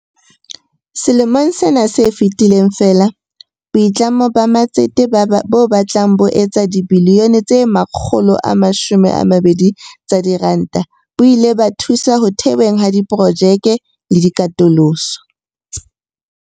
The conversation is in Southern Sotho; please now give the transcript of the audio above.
Selemong sena se fetileng feela, boitlamo ba matsete bo batlang bo etsa dibilione tse 120 tsa diranta bo ile ba thusa ho theweng ha diprojekte le katoloso.